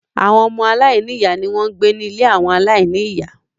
Àwọn ọmọ Aláìní-ìyá ni wọ́n ń gbé ní ilé àwọn aláìní-ìyá